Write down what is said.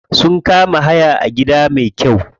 Sun kama hayan gida me kyau.